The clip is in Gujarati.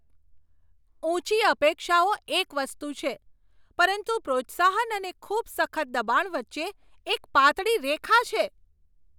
ઊંચી અપેક્ષાઓ એક વસ્તુ છે, પરંતુ પ્રોત્સાહન અને ખૂબ સખત દબાણ વચ્ચે એક પાતળી રેખા છે.